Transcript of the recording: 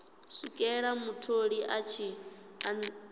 swikela mutholi a tshi ṱanziela